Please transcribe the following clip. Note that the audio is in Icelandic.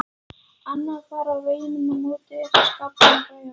Annað far á veggnum á móti eftir skápinn með græjunum.